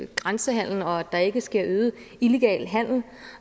grænsehandelen og at der ikke sker en øget illegal handel